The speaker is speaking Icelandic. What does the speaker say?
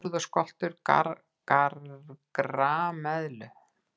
Höfuð og skoltur grameðlu.